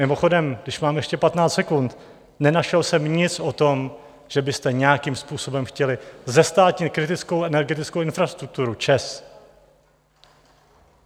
Mimochodem, když mám ještě 15 sekund, nenašel jsem nic o tom, že byste nějakým způsobem chtěli zestátnit kritickou energetickou infrastrukturu ČEZ.